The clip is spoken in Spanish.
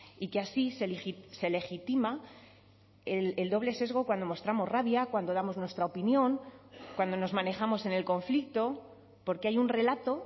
y que así se legitima el doble sesgo cuando mostramos rabia cuando damos nuestra opinión cuando nos manejamos en el conflicto porque hay un relato